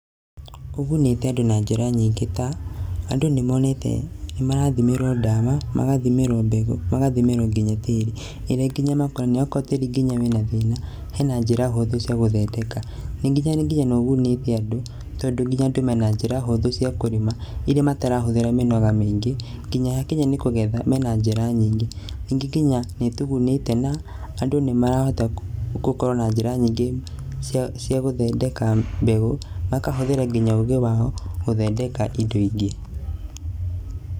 Ũgunĩte andũ na njĩra nyingĩ ta, andũ nĩmonete nĩ marathimĩrwo ndawa, magathimĩrwo mbegũ magathimĩrwo nginya tĩĩri. Okorwo tĩĩri nginya wĩna thĩna, hena njĩra hũthũ cia gũthondeka, nĩ nginya nĩ nginya nĩũgunĩte andũ, tondũ nginya andũ mena njĩra hũthũ cia kũrĩma iria matarahũthĩra mĩnoga mĩingĩ. Nginya yakinya nĩ kũgetha, mena njĩra nyingĩ. Ningĩ nginya nĩ ĩtugunĩte na andũ ni marahota gũkorwo na njĩra nyingĩ ciagũthondeka mbegũ, magahũthĩra nginya ũgĩ wao gũthondeka indo ingĩ.